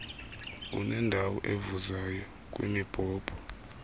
unendawo evuzayo kwimibhobho